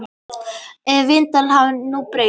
Ef vindáttin hefði nú breyst.